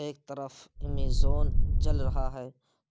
ایک طرف ایمیزون جل رہا ہے